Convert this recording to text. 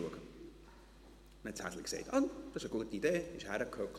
» Das Häschen sagte, «Ach, das ist eine gute Idee.», und setzte sich.